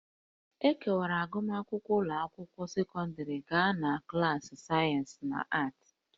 E kewara agụmakwụkwọ ụlọ akwụkwọ sekọndrị gaa na klaasị sayensị na aatị